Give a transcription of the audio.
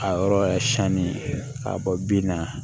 A yɔrɔ yɛrɛ sanni k'a bɔ bin na